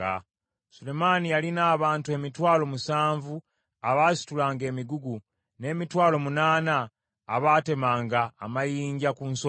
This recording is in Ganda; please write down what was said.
Sulemaani yalina abantu emitwalo musanvu abaasitulanga emigugu, n’emitwalo munaana abaatemanga amayinja ku nsozi,